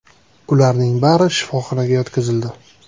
Ularning bari shifoxonaga yotqizildi.